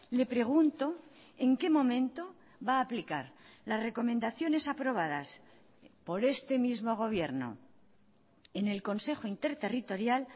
le pregunto en qué momento va a aplicar las recomendaciones aprobadas por este mismo gobierno en el consejo interterritorial